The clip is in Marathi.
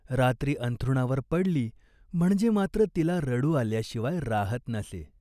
रात्री अंथरुणावर पडली म्हणजे मात्र तिला रडू आल्याशिवाय राहत नसे.